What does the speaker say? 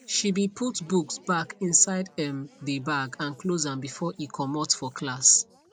she be put books back inside um dey bag and close am before e comot for class